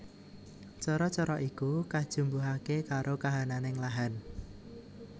Cara cara iku kajumbuhake karo kahananing lahan